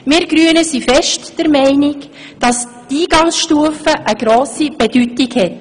Wir Grünen sind sehr stark der Meinung, dass die Eingangsstufe eine grosse Bedeutung hat.